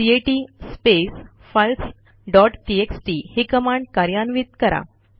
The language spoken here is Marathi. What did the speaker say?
cat space files dot TXT ही कमांड कार्यान्वित करा